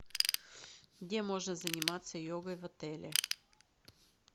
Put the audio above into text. где можно заниматься йогой в отеле